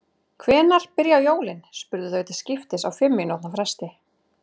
Hvenær byrja jólin? spurðu þau til skiptist á fimm mínútna fresti.